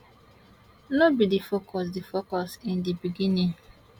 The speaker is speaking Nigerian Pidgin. no be di focus di focus in di beginning